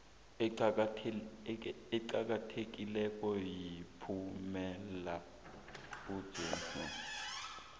eqakathekileko yomphumela wesibili